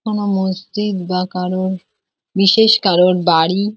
কোনো মসজিদ বা কারোর বিশেষ কারোর বাড়ি।